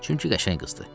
Çünki qəşəng qızdır.